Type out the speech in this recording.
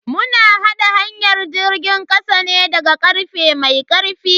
Mu na haɗa hanyar jirgin kasa ne daga karfe mai karfi.